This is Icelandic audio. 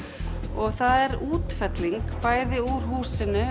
og það er útfelling bæði úr húsinu